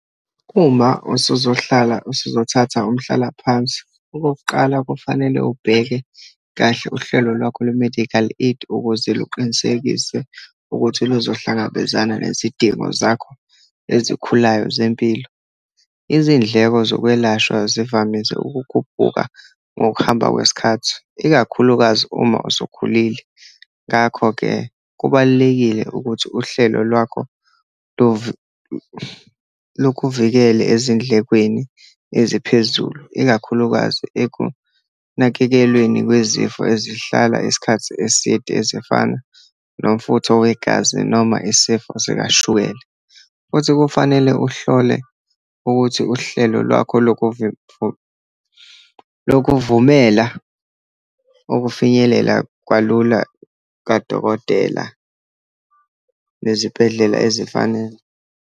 Uma usozohlala, usuzothatha umhlalaphansi, okokuqala, kufanele ubheke kahle uhlelo lwakho lwe-medical aid ukuze luqinisekise ukuthi luzohlangabezana nezidingo zakho ezikhulayo zempilo. Izindleko zokwelashwa zivamise ukukhuphuka ngokuhamba kwesikhathi, ikakhulukazi uma usukhulile. Ngakho-ke kubalulekile ukuthi uhlelo lwakho lukuvikele ezindlekweni eziphezulu, ikakhulukazi ekunakekelweni kwizifo ezihlala isikhathi eside ezifana nomfutho wegazi, noma isifo sikashukela. Futhi kufanele uhlole ukuthi uhlelo lwakho loku lokuvumela ukufinyelela kalula kadokotela nezibhedlela ezifanele.